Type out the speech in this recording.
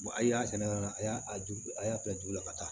a y'a sɛnɛ yɔrɔ min a y'a ju a y'a bila jugu la ka taa